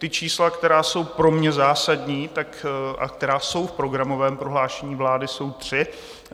Ta čísla, která jsou pro mě zásadní a která jsou v programovém prohlášení vlády, jsou tři.